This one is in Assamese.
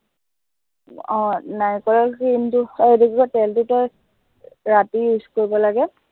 আহ নাৰিকলৰ কি এইটো, অ এইটো কি কয়, তেলটো তই ৰাতি, use কৰিব লাগে